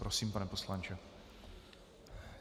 Prosím, pane poslanče.